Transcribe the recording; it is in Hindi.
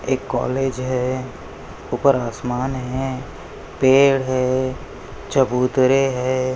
एक कॉलेज है उपर आसमान है पेड़ है चबूतरे है।